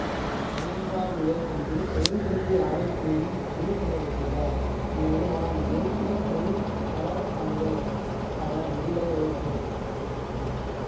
மூன்றாம் நிலைக்கல்வி தொழிற்கல்வி ஆணைக்குழுவில் பதிவு செய்யப்பட்டுள்ள இந்நிறுவனம் தேசிய தொழில்தர சான்றிதழ் கற்கை நெறிகளை வழங்குகின்றது